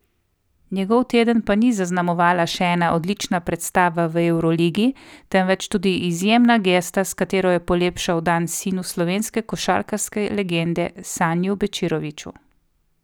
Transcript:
Njegov teden pa ni zaznamovala še ena odlična predstava v evroligi, temveč tudi izjemna gesta, s katero je polepšal dan sinu slovenske košarkarske legende Saniju Bečiroviću.